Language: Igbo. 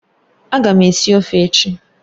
Ága m esi ofe echi.